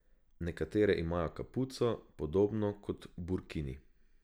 Nekatere imajo kapuco, podobno kot burkini.